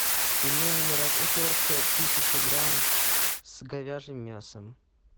пельмени мираторг тысяча грамм с говяжьим мясом